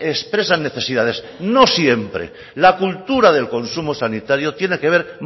expresan necesidades no siempre la cultura del consumo sanitario tiene que ver